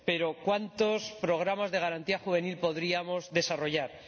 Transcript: Pero, ¿cuántos programas de garantía juvenil podríamos desarrollar?